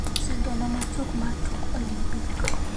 Sigana machuok mar tuk Olimpik